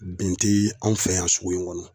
Bɛn te anw fɛ yan sugu in kɔnɔ